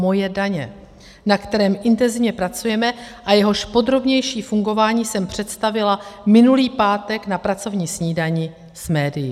Moje daně, na kterém intenzivně pracujeme a jehož podrobnější fungování jsem představila minulý pátek na pracovní snídani s médii.